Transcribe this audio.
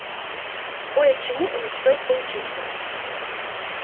кое-чему у них стоит поучиться